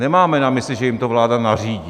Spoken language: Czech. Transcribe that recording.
Nemáme na mysli, že jim to vláda nařídí.